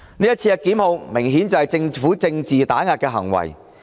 這次檢控明顯就是政府政治打壓的行為。